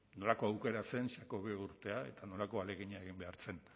nolako aukera zen xacobeo urtea eta nolako ahalegina egin behar zen